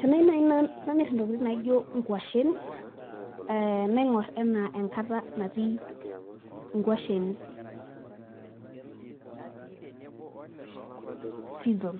Tenaai nanu namir intokitin naijo nkuashen naingor anaa enkata natii inkuashen season